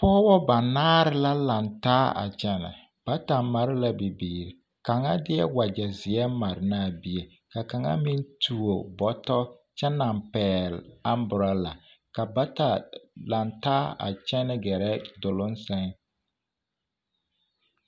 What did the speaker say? Pɔgebɔ banaare la lantaa a kyɛnɛ bata mare la bibiiri kaŋa deɛ wagyɛ zeɛ mare ne a bie ka kaŋa meŋ tuo bɔtɔ kyɛ naŋ pɛgele amborola ka bata lantaa a kyɛnɛ gɛrɛ duluŋ sɛŋ.